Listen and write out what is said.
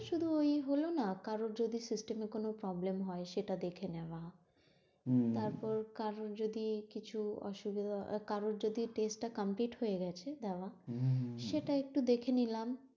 শুধু ওই হলো না, কারোর যদি system এ কোন problem হয় সেটা দেখে নেওয়া তারপর কারোর যদি কিছু অসুবিধা হয়, কারোর যদি test টা complete হয়ে গেছে, দেওয়া সেটা একটু দেখেনিলাম।